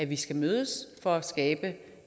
vi skal mødes for at skabe